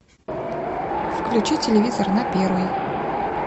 включи телевизор на первый